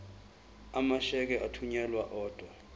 amasheke athunyelwa odwa